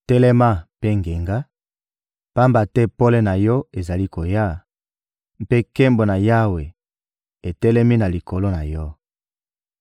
«Telema mpe ngenga, pamba te pole na yo ezali koya, mpe nkembo na Yawe etelemi na likolo na yo.